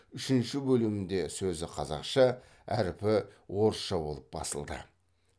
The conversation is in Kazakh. үшінші бөлімінде сөзі қазақша әрпі орысша болып басылды